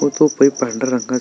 व तो पांढऱ्या रंगाचा--